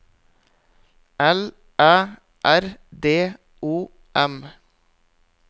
L Æ R D O M